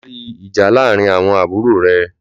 Lò pàrí ijà làárín áwòn àbúró rè